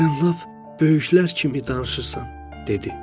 Sən lap böyüklər kimi danışırsan, dedi.